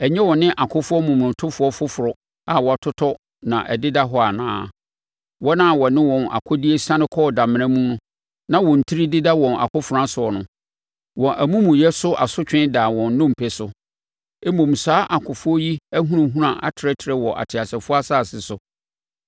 Ɛnyɛ wɔ ne akofoɔ momonotofoɔ foforɔ a wɔatotɔ na ɛdeda hɔ anaa? Wɔn a wɔne wɔn akodeɛ siane kɔɔ damena mu na wɔn tiri deda wɔn akofena soɔ no. Wɔn amumuyɛ so asotwe daa wɔn nnompe so, mmom saa akofoɔ yi ahunahuna atrɛtrɛ wɔ ateasefoɔ asase so.